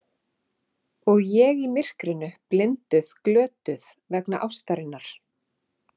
Og ég í myrkrinu, blinduð, glötuð, vegna ástarinnar.